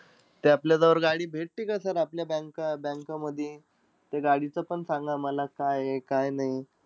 ते आपल्याजवळ गाडी भेटती का sir आपल्या banks bank मधी? ते गाडीचं पण सांगा मला काय आहे काय नाही.